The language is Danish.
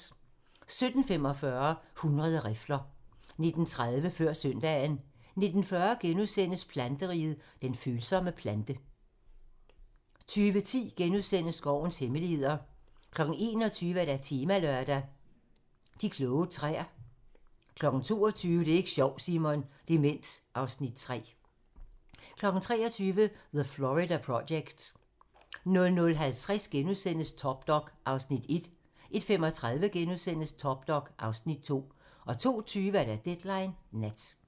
17:45: 100 rifler 19:30: Før søndagen 19:40: Planteriget - den følsomme plante * 20:10: Skovens hemmeligheder * 21:00: Temalørdag: De kloge træer * 22:00: Det er ik' sjovt, Simon! - Dement (Afs. 3) 23:00: The Florida Project 00:50: Top Dog (Afs. 1)* 01:35: Top Dog (Afs. 2)* 02:20: Deadline Nat